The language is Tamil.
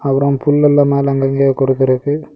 அப்புறம் புல் எல்லா மேல அங்கங்கே கொடுக்கிறது.